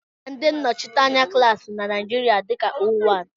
Á mà ndị nnọchiteanya klaasi na Naijiria dika óówán